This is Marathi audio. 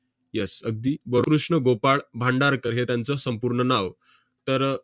yes अगदी बर~ ळकृष्ण~ गोपाळ भांडारकर हे त्यांचं संपूर्ण नाव. तर अह